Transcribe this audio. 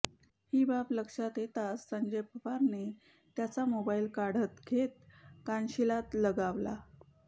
ही बाब लक्षात येताच संजय पवारने त्याचा मोबाईल काढन घेत कानशिलात लगावला